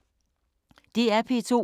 DR P2